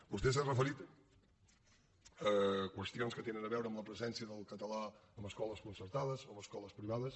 vostè s’ha referit a qüestions que tenen a veure amb la presència del català en escoles concertades en escoles privades